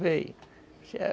De onde você veio?